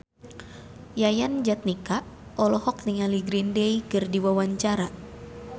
Yayan Jatnika olohok ningali Green Day keur diwawancara